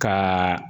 Ka